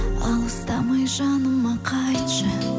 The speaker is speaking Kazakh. алыстамай жаныма қайтшы